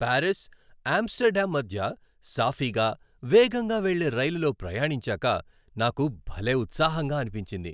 Paris, Amsterdam మధ్య సాఫీగా, వేగంగా వెళ్ళే రైలులో ప్రయాణించాక నాకు భలే ఉత్సాహంగా అనిపించింది.